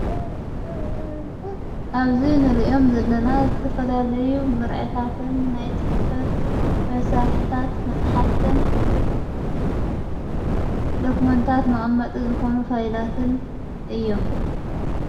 ኣብዙይ ንርእዮም ዘለና ዘተፈላልዩ ምርዕታትን ናይ ጽሕፈት መሣርሕታት መጽሓፍትን ደኩመንታት መቐመጢ ዝኾኑ ፋይላትን እዮም::